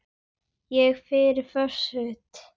Ég er föst.